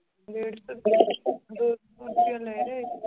ਡੇਢ ਸੌ ਰੁਪਇਆ ਦੋ ਸੌ